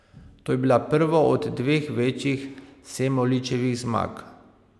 To je bila prva od dveh večjih Semoličevih zmag.